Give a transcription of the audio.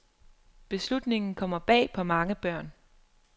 Beslutningen kommer bag på mange børn.